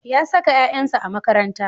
Ya saka ƴaƴansa a makaranta.